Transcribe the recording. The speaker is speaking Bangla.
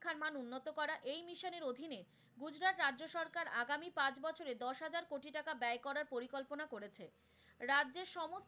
ত্রিপুরার রাজ্য সরকার আগামী পাঁচ বছরে দশ হাজার কোটি টাকা ব্যয় করার পরিকল্পনা করেছে। রাজ্যের সমস্ত,